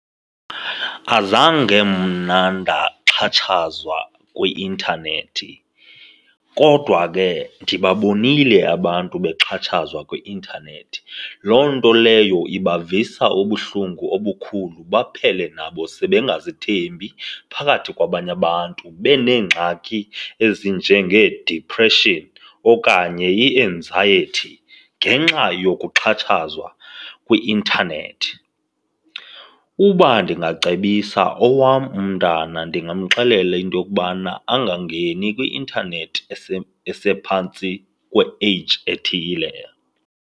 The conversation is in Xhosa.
Azange mna ndaxhatshaziwa kwi-intanethi kodwa ke ndibabonile abantu bexhatshazwa kwi-intanethi. Loo nto leyo ibavisa ubuhlungu obukhulu baphele nabo sebengazithembi phakathi kwabanye abantu beneengxaki ezinjengee-depression okanye i-anxiety ngenxa yokuxhatshazwa kwi-intanethi. Uba ndingacebisa owam mntana, ndingamxelela into yokubana angangeni kwi-intanethi esephantsi kwe-age ethile.